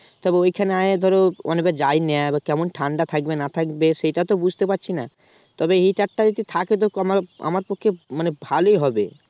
তবে ওখানেই ধর অনেকবার যায়নি কেমন ঠান্ডা থাকবে না থাকবে সেটা তো বুঝতে পারছি না তবে heater টা যদি থাকে তো কমা আমার পক্ষে মানে ভালোই হবে